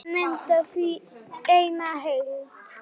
Húsin mynda því eina heild.